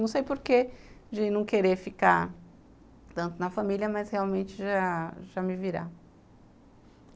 Não sei por que de não querer ficar tanto na família, mas realmente já já me virar.